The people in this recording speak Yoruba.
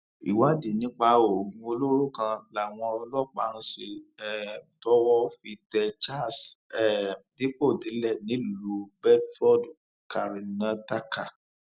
ìwádìí nípa oògùn olóró kan làwọn ọlọpàá ń ṣe um tọwọ fi tẹ charles um dipòdìlẹ nílùú bedford karnataka